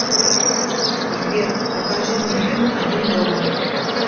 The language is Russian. сбер покажи мне фильм один дома